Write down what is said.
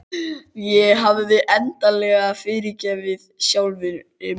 Ég hafði endanlega fyrirgefið sjálfri mér.